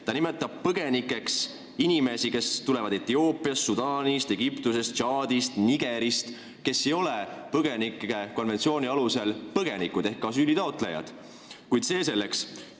Põgenikeks nimetatakse inimesi, kes tulevad Etioopiast, Sudaanist, Egiptusest ja Tšaadist ning kes ei ole põgenike konventsiooni alusel põgenikud ehk asüülitaotlejad, kuid see selleks.